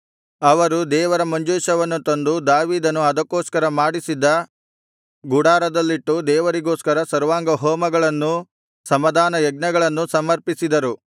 ಅವರು ದೇವರ ಮಂಜೂಷವನ್ನು ತಂದು ದಾವೀದನು ಅದಕ್ಕೋಸ್ಕರ ಮಾಡಿಸಿದ್ದ ಗುಡಾರದಲ್ಲಿಟ್ಟು ದೇವರಿಗೋಸ್ಕರ ಸರ್ವಾಂಗಹೋಮಗಳನ್ನೂ ಸಮಾಧಾನಯಜ್ಞಗಳನ್ನೂ ಸಮರ್ಪಿಸಿದರು